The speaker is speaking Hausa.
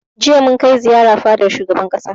Jiya mun kai ziyara fadar shugaban ƙasa